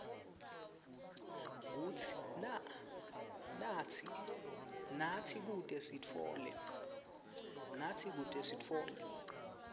natsi kute sitfole